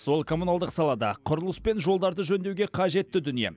сол коммуналдық салада құрылыс пен жолдарды жөндеуге қажетті дүние